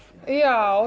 já